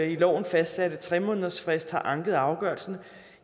i loven fastsatte tre månedersfrist har anket afgørelsen